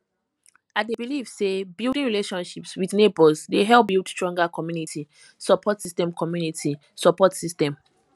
i dey believe say building relationships with neighbors dey help build stronger community support system community support system